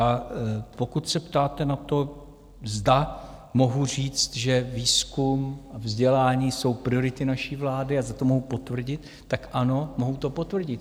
A pokud se ptáte na to, zda mohu říct, že výzkum a vzdělání jsou priority naší vlády a zda to mohu potvrdit, tak ano, mohu to potvrdit.